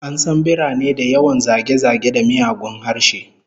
An san birane da yawan zage-zage da miyagun harshe